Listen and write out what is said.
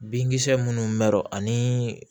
Binkisɛ minnu mɔrɔ ani